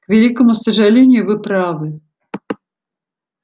к великому сожалению вы правы